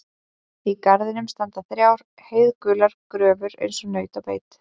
Í garðinum standa þrjár heiðgular gröfur eins og naut á beit.